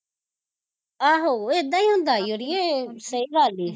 ਆਹੋ ਏਦਾ ਈ ਹੁੰਦਾ ਈ ਅੜੀਏ, ਸਹੀ ਗਲ਼ ਈ